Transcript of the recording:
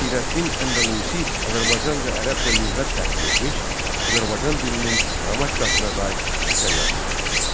Əsirəddin Əndəlusi Azərbaycanca-Ərəbcə lüğət tərtib etmiş, Azərbaycan dilinin qrammatikasına dair əsər yazmışdı.